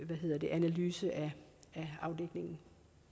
analyse af afdækningen